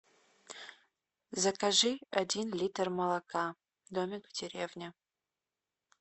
закажи один литр молока домик в деревне